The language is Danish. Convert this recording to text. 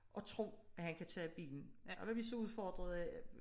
At tro at han kan tage bilen det kan godt være vi så er udfordret af